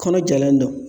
Kɔnɔ jalen don